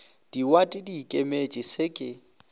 diwate di ikemetše se ke